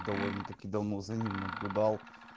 довольно-таки давно за ним наблюдал